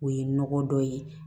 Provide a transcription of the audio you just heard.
O ye nɔgɔ dɔ ye